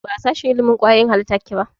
Ba a sashen ilimin kwayoyin halitta kike ba?